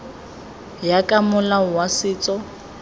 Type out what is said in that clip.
ya ka molao wa setso